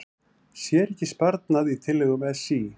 Sér ekki sparnað í tillögum SÍ